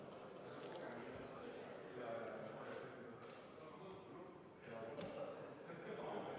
Ja ma saan ainult tänada kõiki neid, kes kohalolijaks registreerusid ja kohale tulid, sest päevakorras meil täna ühtegi punkti ei ole ja meie istung on sellega lõppenud.